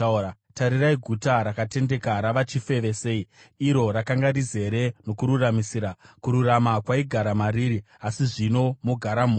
Tarirai guta rakatendeka rava chifeve sei! Iro rakanga rizere nokururamisira; kururama kwaigara mariri, asi zvino mogara mhondi!